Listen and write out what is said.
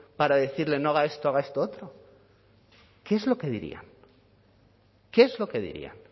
para decirle no haga esto haga esto otro qué es lo que diría qué es lo que diría